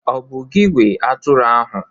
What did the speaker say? Ọ̀ bụ gị nwe atụrụ ahụ?